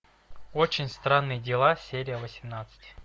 очень странные дела серия восемнадцать